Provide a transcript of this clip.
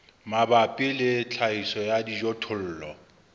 mabapi le tlhahiso ya dijothollo